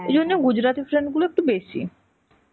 ঐজন্যে gujrati friend গুলো একটু বেশী.